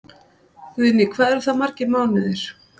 Guðný: Hvað eru það margir mánuðir?